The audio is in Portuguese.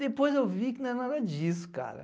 Depois eu vi que não era nada disso, cara.